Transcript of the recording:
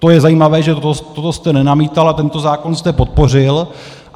To je zajímavé, že toto jste nenamítal a tento zákon jste podpořil.